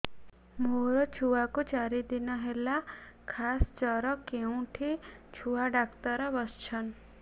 ମୋ ଛୁଆ କୁ ଚାରି ଦିନ ହେଲା ଖାସ ଜର କେଉଁଠି ଛୁଆ ଡାକ୍ତର ଵସ୍ଛନ୍